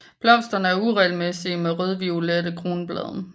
Blomsterne er uregelmæssige med rødviolette kronblade